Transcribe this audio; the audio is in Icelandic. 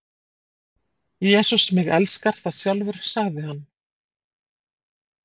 Jesús mig elskar það sjálfur sagði hann.